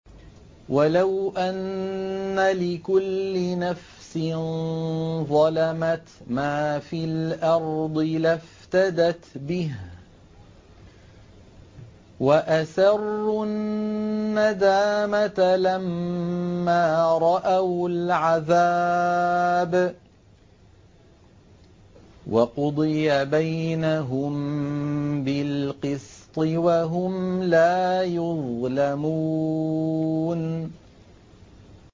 وَلَوْ أَنَّ لِكُلِّ نَفْسٍ ظَلَمَتْ مَا فِي الْأَرْضِ لَافْتَدَتْ بِهِ ۗ وَأَسَرُّوا النَّدَامَةَ لَمَّا رَأَوُا الْعَذَابَ ۖ وَقُضِيَ بَيْنَهُم بِالْقِسْطِ ۚ وَهُمْ لَا يُظْلَمُونَ